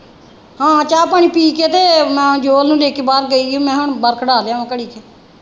ਹਾਂ ਚਾਹ ਪਾਣੀ ਪੀ ਕੇ ਤੇ ਮੈਂ ਜੋਤ ਨੂੰ ਲੈ ਕੇ ਬਾਹਰ ਗਈ ਹੀ ਮੈਂ ਕਿਹਾ ਬਾਹਰ ਖਿਡਾ ਲਿਆਂਵਾ ਘੜੀ ਕ।